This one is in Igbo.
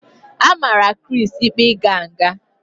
A mara Chris ikpe ịga nga